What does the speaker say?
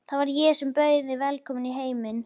Það var ég sem bauð þig velkomna í heiminn.